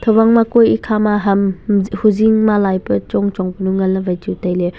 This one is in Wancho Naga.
huwang ma kue ekha ma ham e huzing malai pe chong chong panu ngan ley wai chu tailey.